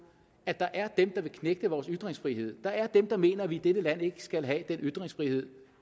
at der er dem der vil knægte vores ytringsfrihed der er dem der mener at vi i dette land ikke skal have den ytringsfrihed